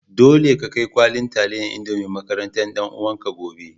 Dole ka kai kwallin talliyan indomie makarantan dan uwan ka gobe.